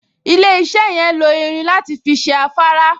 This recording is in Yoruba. Ilé-iṣẹ́ yẹn lo irin láti fi ṣe afárá